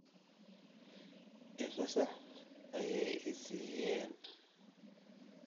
I fasax ayay i siiyeen